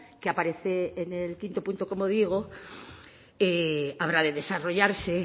que aparece en el quinto punto como digo habrá de desarrollarse